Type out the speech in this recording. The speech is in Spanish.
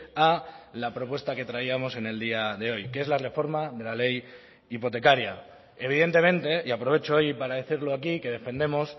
a la propuesta que traíamos en el día de hoy que es la reforma de la ley hipotecaria evidentemente y aprovecho hoy para decirlo aquí que defendemos